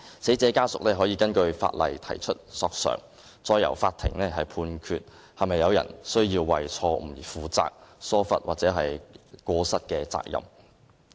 死者家屬可以根據法例提出索償，再由法庭判決是否有人須為錯誤而承擔疏忽或過失的責任。